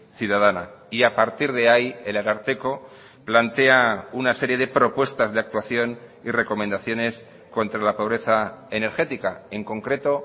ciudadana y a partir de ahí el ararteko plantea una serie de propuestas de actuación y recomendaciones contra la pobreza energética en concreto